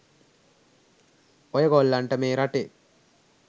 ඔය ගොල්ලන්ට මේ රටේ